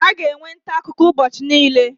A ga-enwe ntaakụkọ ụbọchị niile